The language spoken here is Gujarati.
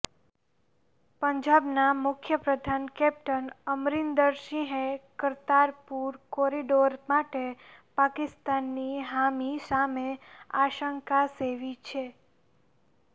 પંજાબના મુખ્યપ્રધાન કેપ્ટન અમરિન્દર સિંહે કરતારપુર કોરિડોર માટે પાકિસ્તાનની હામી સામે આશંકા સેવી છે